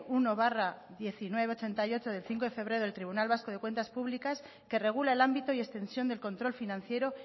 uno barra mil novecientos ochenta y ocho del cinco de febrero del tribunal vasco de cuentas públicas que regula el ámbito y extensión del control financiero